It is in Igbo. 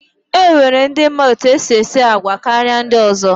E nwere ndi ma etu e si esi àgwà karịa ndị ọzọ.